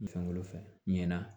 Fɛn wolo fɛ ɲinɛna